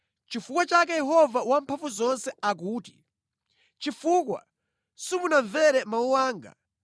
Nʼchifukwa chake Yehova Wamphamvuzonse akuti, “Chifukwa simunamvere mawu anga,